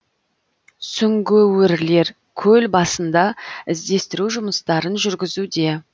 сүңгуірлер көл басында іздестіру жұмыстарын жүргізуде